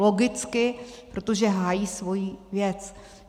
Logicky, protože hájí svoji věc.